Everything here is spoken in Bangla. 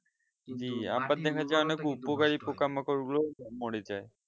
পোকামাকড় গুলো মোরে যাই